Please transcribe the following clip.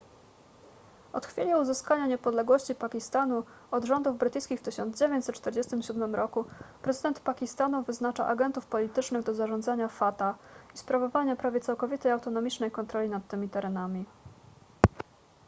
od chwili uzyskania niepodległości pakistanu od rządów brytyjskich w 1947 roku prezydent pakistanu wyznacza agentów politycznych do zarządzania fata i sprawowania prawie całkowitej autonomicznej kontroli nad tymi terenami